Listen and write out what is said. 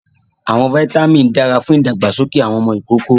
Awọn vitamin dara fun ìdàgbàsókè awọn ọmọ ikoko